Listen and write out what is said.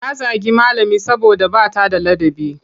Ta zagi malami saboda ba ta da ladabi.